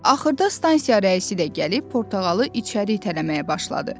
Axırda stansiya rəisi də gəlib portağalı içəri itələməyə başladı.